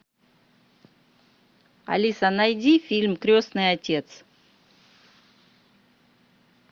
алиса найди фильм крестный отец